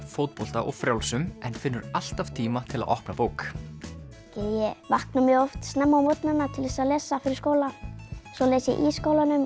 fótbolta og frjálsum en finnur alltaf tíma til að opna bók ég vakna mjög oft snemma á morgnana til að lesa fyrir skóla svo les ég í skólanum